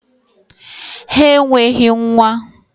Ha enweghị nwa!